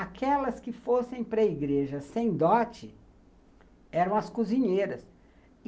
Aquelas que fossem para a igreja sem dote eram as cozinheiras.